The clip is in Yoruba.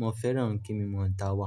mo fẹ́ràn kí mo máa ń dáwà.